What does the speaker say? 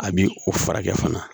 A bi o furakɛ fana